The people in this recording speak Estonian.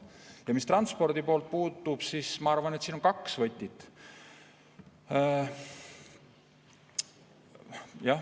Ja mis transporti puutub, siis ma arvan, et siin on kaks võtit.